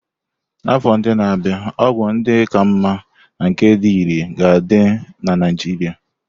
N'afọ ndị na-abịa, ọgwụ ndị ka mma na nke dị irè ga-adị na Naijiria.